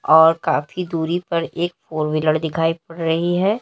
और काफी दूरी पर एक फोर व्हीलर दिखाई पड़ रही है।